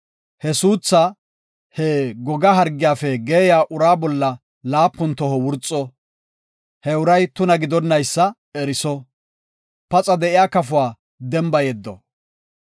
He suuthaa, he goga hargiyafe geeyiya uraa bolla laapun toho wurxo; he uray tuna gidonaysa eriso; paxa de7iya kafuwa demba yeddo.